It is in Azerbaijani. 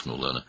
o ah çəkdi.